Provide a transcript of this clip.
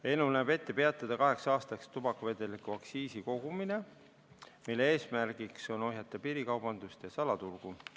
Eelnõu näeb ette peatada kaheks aastaks tubakavedeliku aktsiisi kogumine, eesmärk on ohjeldada piirikaubandust ja salaturgu.